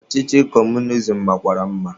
Ọchịchị kọmunizim makwara mma.